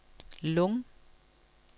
Lung